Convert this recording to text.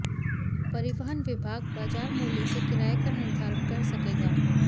परिवहन विभाग बाजार मूल्य से किराए का निर्धारण कर सकेगा